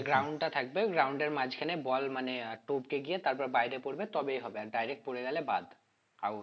যে ground টা থাকবে ওই ground এর মাঝখানে ball মানে আহ টোপকে গিয়ে তারপর বাইরে পড়বে তবেই হবে আর direct পড়ে গেলে বাদ out